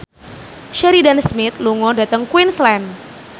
Sheridan Smith lunga dhateng Queensland